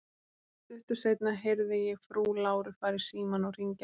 Stuttu seinna heyrði ég frú Láru fara í símann og hringja á lækni.